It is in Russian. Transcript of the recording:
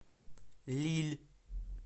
лилль